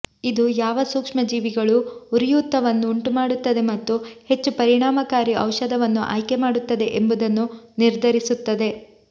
ಇದು ಯಾವ ಸೂಕ್ಷ್ಮಜೀವಿಗಳು ಉರಿಯೂತವನ್ನು ಉಂಟುಮಾಡುತ್ತದೆ ಮತ್ತು ಹೆಚ್ಚು ಪರಿಣಾಮಕಾರಿ ಔಷಧವನ್ನು ಆಯ್ಕೆ ಮಾಡುತ್ತದೆ ಎಂಬುದನ್ನು ನಿರ್ಧರಿಸುತ್ತದೆ